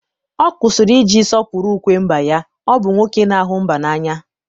ọ kwụsịrị iji sọpụrụ ukwe mba ya, ọ bụ nwoke na-ahụ mba n'anya.